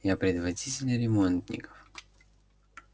я предводитель ремонтников